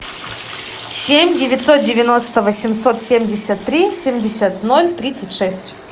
семь девятьсот девяносто восемьсот семьдесят три семьдесят ноль тридцать шесть